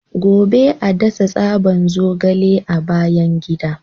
Gobe ​​a dasa tsaban zogale a bayan gida.